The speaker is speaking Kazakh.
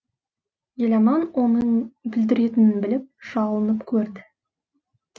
еламан оның бүлдіретінін біліп жалынып көрді